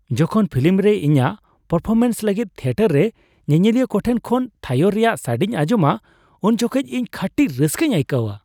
ᱡᱚᱠᱷᱚᱱ ᱯᱷᱤᱞᱤᱢ ᱨᱮ ᱤᱧᱟᱹᱜ ᱯᱟᱨᱯᱷᱚᱨᱢᱮᱱᱥ ᱞᱟᱹᱜᱤᱫ ᱛᱷᱤᱭᱮᱴᱟᱨ ᱨᱮ ᱧᱮᱧᱮᱞᱤᱭᱟᱹ ᱠᱚ ᱴᱷᱮᱱ ᱠᱷᱚᱱ ᱛᱷᱟᱭᱳ ᱨᱮᱭᱟᱜ ᱥᱟᱰᱮᱧ ᱟᱸᱡᱚᱢᱟ ᱩᱱ ᱡᱚᱠᱷᱮᱱ ᱤᱧ ᱠᱷᱟᱹᱴᱤ ᱨᱟᱹᱥᱠᱟᱹᱧ ᱟᱹᱭᱠᱟᱹᱣᱟ ᱾